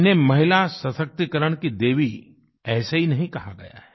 इन्हें महिलासशक्तीकरण की देवी ऐसे ही नहीं कहा गया है